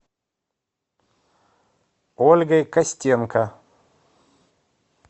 ольгой костенко